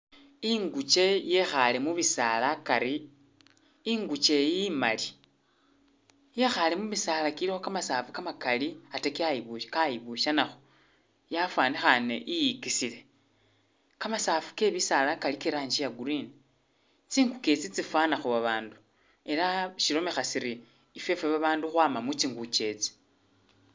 Inguke yekhaale mu bisaala akari, inguke iyi imali yekhaale mubisaala bilikho kamasaafu kamakali ate kyayibusha-kayibushanakho yafwanikhane iyikisile. Kamasaafu ke bisaala kali ke i'rangi ya green, tsinguke itsi tsifwanakho babandu ela shilomekha siri ifwefwe babandu khwama mu tsinguke.